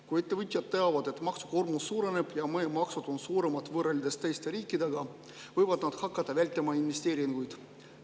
Kui ettevõtjad teavad, et maksukoormus suureneb ja meie maksud on suuremad võrreldes teistes riikides, võivad nad hakata vältima investeeringuid.